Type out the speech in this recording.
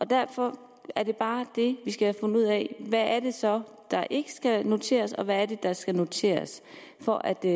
derfor er det bare det vi skal have fundet ud af hvad det så der ikke skal noteres og hvad det er der skal noteres for at det